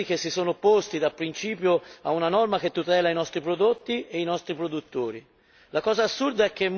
Sono infatti questi i paesi che si sono opposti sin dal principio a una norma che tutela i nostri prodotti e i nostri produttori.